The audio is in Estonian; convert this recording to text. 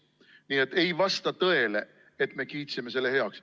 Nii et ei vasta tõele, et me kiitsime selle heaks.